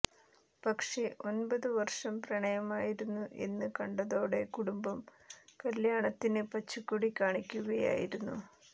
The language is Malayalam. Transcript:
പക്ഷേ ഒന്പത് വര്ഷം പ്രണയമായിരുന്നു എന്ന് കണ്ടതോടെ കുടുംബം കല്യാണത്തിന് പച്ചക്കൊടി കാണിക്കുകയായിരുന്നു